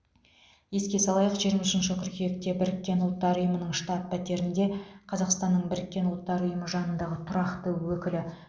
еске салайық жиырма үшінші қыркүйекте біріккен ұлттар ұйымының штаб пәтерінде қазақстанның біріккен ұлттар ұйымы жанындағы тұрақты өкілі